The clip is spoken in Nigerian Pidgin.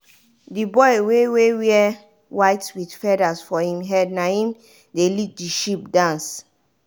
the boy wey wey wear white with feathers for him head naim dey lead the sheep dance.